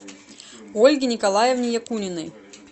ольге николаевне якуниной